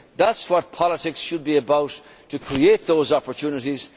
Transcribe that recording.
That is what politics should be about to create those opportunities.